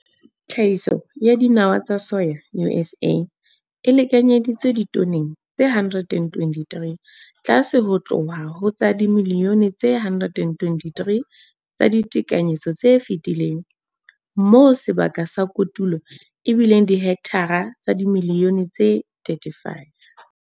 Tlhahiso ya dinawa tsa soya USA e lekanyeditswe ditoneng tse 123, tlase ho tloha ho tsa dimilione tse 123 tsa ditekanyetso tse fetileng, moo sebaka sa kotulo e bileng dihekthara tsa dimilione tse 35.